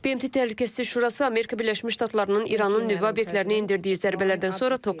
BMT Təhlükəsizlik Şurası Amerika Birləşmiş Ştatlarının İranın nüvə obyektlərinə endirdiyi zərbələrdən sonra toplanıb.